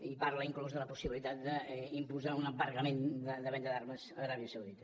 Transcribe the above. i parla inclús de la possibilitat d’imposar un embargament de venda d’armes a l’aràbia saudita